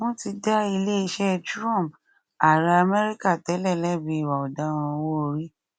wọn ti dá iléeṣẹ trump ààrẹ amẹríkà tẹlẹ lẹbi ìwà ọdaràn owó orí